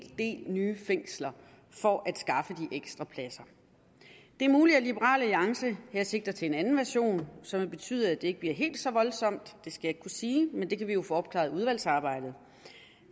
del nye fængsler for at skaffe de ekstra pladser det er muligt at liberal alliance her sigter til en anden version som vil betyde at det ikke bliver helt så voldsomt det skal jeg ikke kunne sige men det kan vi jo få opklaret i udvalgsarbejdet